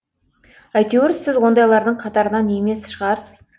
әйтеуір сіз ондайлардың қатарынан емес шығарсыз